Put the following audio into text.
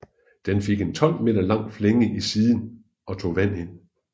Den fik en 12 meter lang flænge i siden og tog vand ind